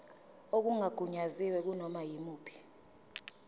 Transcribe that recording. okungagunyaziwe kunoma yimuphi